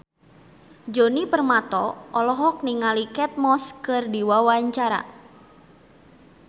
Djoni Permato olohok ningali Kate Moss keur diwawancara